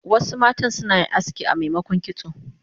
Wasu matan suna aski amemokon kitso